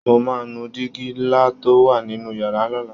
Mo máa nu digi ńlá tó wà nínú yàrá lọ́la